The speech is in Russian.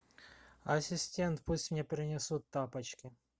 ассистент пусть мне принесут тапочки